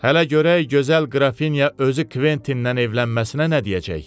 Hələ görək gözəl Qrafinya özü Kventindən evlənməsinə nə deyəcək?